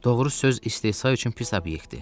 Doğru söz istehza üçün pis obyektdir.